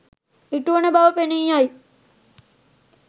ඉටුවන බව පෙනී යයි.